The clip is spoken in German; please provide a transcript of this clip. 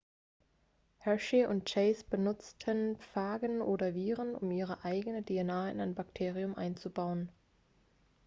hershey und chase benutzten phagen oder viren um ihre eigene dna in ein bakterium einzubauen